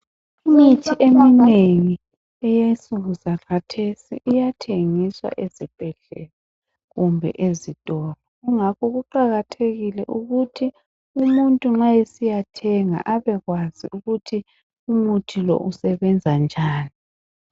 Imithi eminengi eyensuku zakhathesi iyathengiswa ezibhedlela kumbe ezitolo kungakho kuqakathekile ukuthi umuntu nxa esiyathenga abekwazi ukuthi umuthi lo usebenza njani.